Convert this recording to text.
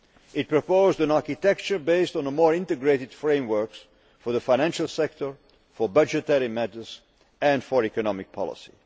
It proposed an architecture based on more integrated frameworks for the financial sector, for budgetary matters, and for economic policy.